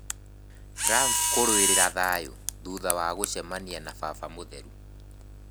Trump 'kũrũĩrĩra thayũ' thutha wa gũcemania na baba mũtheru